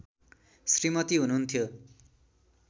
श्रीमती हुनुहुन्थ्यो